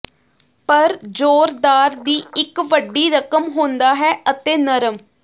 ਪਰ ਜ਼ੋਰਦਾਰ ਦੀ ਇੱਕ ਵੱਡੀ ਰਕਮ ਹੁੰਦਾ ਹੈ ਅਤੇ ਨਰਮ